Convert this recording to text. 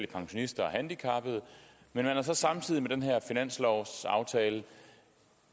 pensionister og handicappede men man er så samtidig med den her finanslovsaftale